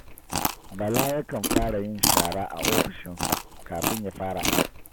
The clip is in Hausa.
Bala yakan fara yin shara a ofishinsa kafin ya fara aiki